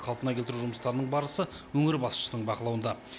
қалпына келтіру жұмыстарының барысы өңір басшысының бақылауында